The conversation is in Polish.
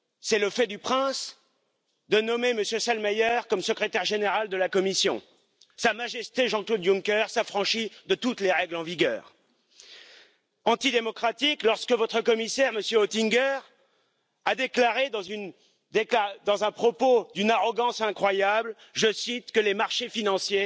ten pragmatyzm. Ale zabrakło mi tutaj wyraźnej stawki na budowę konkurencyjnego rynku, bez blokad, na usuwanie protekcjonizmu, który ma podstawę nie tylko w populizmie, ale znacznie szerszą, na wsparcie dla małych i średnich przedsiębiorstw to byłoby bardzo pragmatyczne podejście. W przeciwieństwie do pana Farage'a, który przemawiał tutaj trzy minuty